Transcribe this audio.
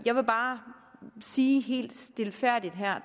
jeg vil bare sige helt stilfærdigt her